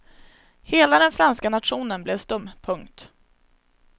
Hela den franska nationen blev stum. punkt